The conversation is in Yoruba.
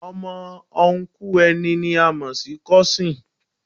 Ọmọ Ọnkú ẹni ni a mo si Kósìn